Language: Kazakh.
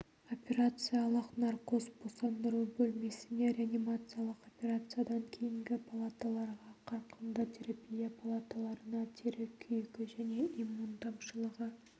операциялық наркоз босандыру бөлмесіне реанимациялық операциядан кейінгі палаталарға қарқынды терапия палаталарына тері күйігі және иммун тапшылығы